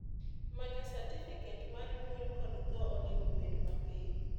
manyo satifiket mar nyuol kod tho onego bed mapiyo